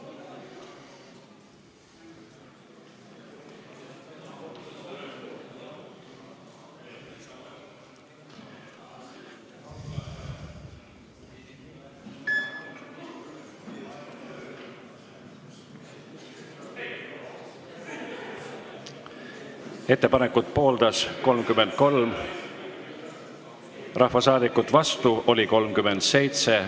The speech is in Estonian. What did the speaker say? Hääletustulemused Ettepanekut pooldas 33 rahvasaadikut, vastu oli 37.